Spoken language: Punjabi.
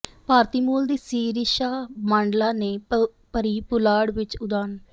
ਭਾਰਤੀ ਮੂਲ ਦੀ ਸੀਰੀਸ਼ਾ ਬਾਂਡਲਾ ਨੇ ਭਰੀ ਪੁਲਾੜ ਵਿੱਚ ਉੜਾਨ